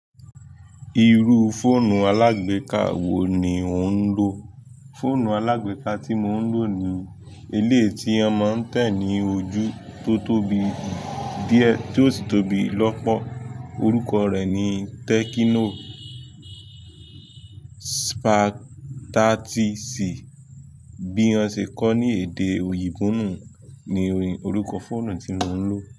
Irú fóònù alágbèká wo ni ò ń lò? Fóònù alágbèká tí mò ń lò ni elé ti ọmọ ń tẹ̀ ní ojú tó tóbi díẹ̀, tí ó sì tóbi lọ́pọ̀. Orúkọ rẹ̀ ni Tecno Spark 30C. Bí wọn ṣe kọ̀ ní èdè òyìnbó nu, oyinbo lo ko fóònù tí mo ń lò.